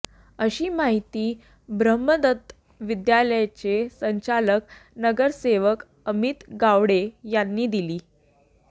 अशी माहिती ब्रम्हदत्त विद्यालयाचे संचालक नगरसेवक अमित गावडे यांनी दिली